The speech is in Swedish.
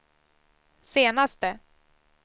senaste